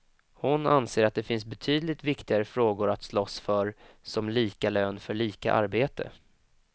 Hon anser att det finns betydligt viktigare frågor att slåss för som lika lön för lika arbete.